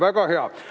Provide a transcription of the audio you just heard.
Väga hea!